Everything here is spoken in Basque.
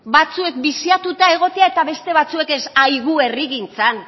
batzuek biziatuta egotea eta beste batzuek ez herrigintzan